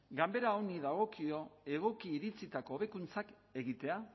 ganbera honi dagokio egoki iritzitako hobekuntzak egitea